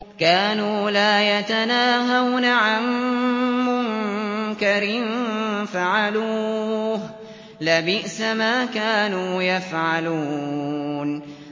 كَانُوا لَا يَتَنَاهَوْنَ عَن مُّنكَرٍ فَعَلُوهُ ۚ لَبِئْسَ مَا كَانُوا يَفْعَلُونَ